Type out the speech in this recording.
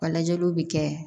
Ka lajɛliw bɛ kɛ